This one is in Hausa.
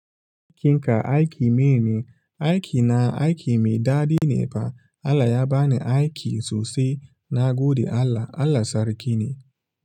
Aikin ka aiki mai ne, aiki na aiki mai daɗi ne fa. Allah ya bani aiki sosai. Na gode Allah. Allah sarki ne.